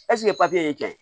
Ɛseke papiye ye cɛn ye